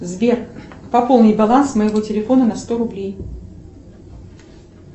сбер пополнить баланс моего телефона на сто рублей